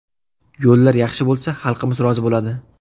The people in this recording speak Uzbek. Yo‘llar yaxshi bo‘lsa, xalqimiz rozi bo‘ladi.